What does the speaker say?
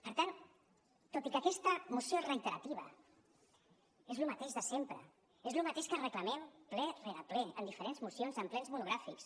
per tant tot i que aquesta moció és reiterativa és lo mateix de sempre és lo mateix que reclamem ple rere ple en diferents mocions en plens monogràfics